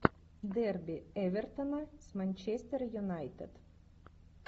дерби эвертона с манчестер юнайтед